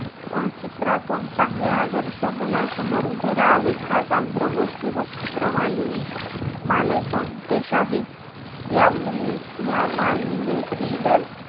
अं चित्रातून चांगले आदर्श मुलांसमोर उभे राहावेत हाचं आमचा गोष्टीरूप चित्रमाली~ मालेचा उद्देश आहे. या मुल~ मालेतीलचं,